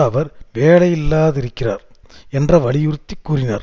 அவர் வேலையில்லாதிருக்கிறார் என்ற வலியுறுத்தி கூறினார்